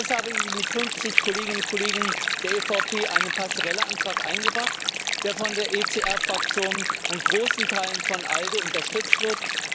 Deshalb habe ich mit 50 Kolleginnen und Kollegen der EVP einen Passerelle Antrag eingebracht, der von der ECR Fraktion und großen Teilen von ALDE unterstützt wird.